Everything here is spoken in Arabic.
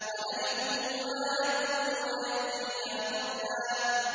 وَنَرِثُهُ مَا يَقُولُ وَيَأْتِينَا فَرْدًا